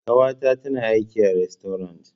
Ƙawata tana aiki a rastorant.